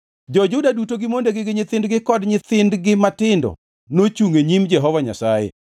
Jo-Juda duto gi mondegi gi nyithindgi kod nyithindgi matindo nochungʼ e nyim Jehova Nyasaye.